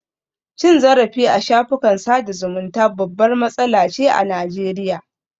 Cin zarafi a shafukan sada zumunta babbar matsala ce a Najeriya